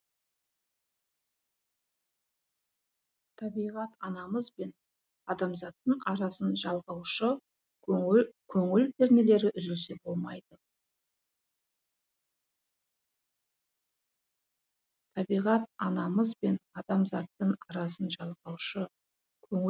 табиғат анамыз бен адамзаттың арасын жалғаушы көңіл көңіл пернелері үзілсе болмайды табиғат анамыз бен адамзаттың арасын жалғаушы көңіл